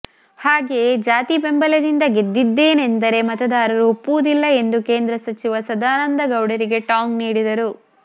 ಹಾಗೆಯೆ ಜಾತಿ ಬೆಂಬಲದಿಂದ ಗೆದ್ದಿದ್ದೇನೆಂದರೆ ಮತದಾರರು ಒಪ್ಪುವುದಿಲ್ಲ ಎಂದು ಕೇಂದ್ರ ಸಚಿವ ಸದಾನಂದಗೌಡರಿಗೆ ಟಾಂಗ್ ನೀಡಿದರು